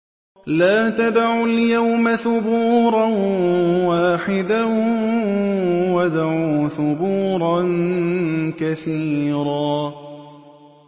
لَّا تَدْعُوا الْيَوْمَ ثُبُورًا وَاحِدًا وَادْعُوا ثُبُورًا كَثِيرًا